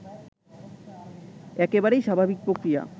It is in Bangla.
একেবারেই স্বাভাবিক প্রক্রিয়া